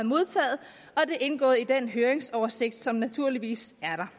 modtaget og det indgår i den høringsoversigt som naturligvis er